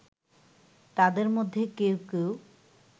তাদের মধ্যে কেউ কেউ